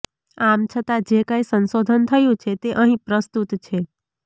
આમ છતાં જે કાંઇ સંશોધન થયું છે તે અહીં પ્રસ્તુત છે